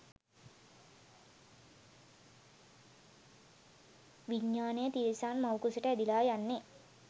විඤ්ඤාණය තිරිසන් මව්කුසට ඇදිලා යන්නේ